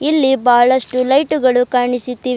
ಇಲ್ಲಿ ಬಹಳಷ್ಟು ಲೈಟ್ ಗಳು ಕಾಣಿಸುತ್ತಿವೆ.